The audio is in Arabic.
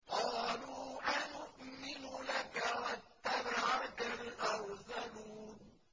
۞ قَالُوا أَنُؤْمِنُ لَكَ وَاتَّبَعَكَ الْأَرْذَلُونَ